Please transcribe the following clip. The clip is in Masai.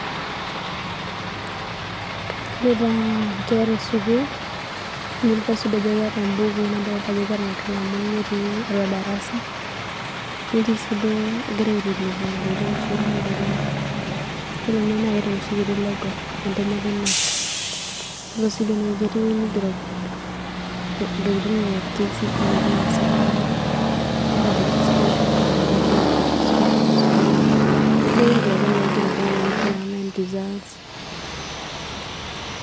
Kadolita nkera e sukuul, nadolita sii duo ajo keeta mbukui nadolita ajo keeta nkalamuni netii atua darasa, netii sii duo egira aiteleki ntokitin shumata lorikan. Ore ene naa keeta enoshi kiti logo e ntemata e KNEC. Yiolo sii ketii ewueji nigero ntokitin e KCPE o ntokitin e secondary. Keeta registration confirmation, registration school ntokitin duake akeyie naigero teine wueji online results.